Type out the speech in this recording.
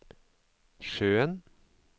sjøen